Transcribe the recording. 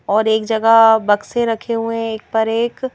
और एक जगह बक्से रखे हुए हैं एक पर एक--